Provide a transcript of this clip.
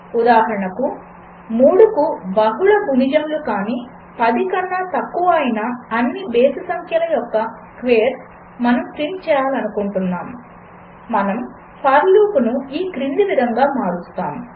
ఉదాహరణకు 3కు బహుళ గుణిజములు కాని 10 కన్నా తక్కువ అయిన అన్ని బేసి సంఖ్యల యొక్క స్క్వేర్స్ మనము ప్రింట్ చేయాలనుకుంటున్నాము మనము ఫర్ లూపును ఈ క్రింది విధంగా మారుస్తాము